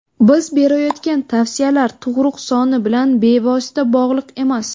Biz berayotgan tavsiyalar tug‘ruq soni bilan bevosita bog‘liq emas.